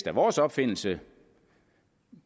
er vores opfindelse